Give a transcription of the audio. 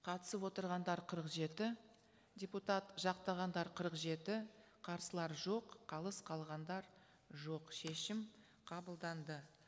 қатысып отырғандар қырық жеті депутат жақтағандар қырық жеті қарсылар жоқ қалыс қалғандар жоқ шешім қабылданды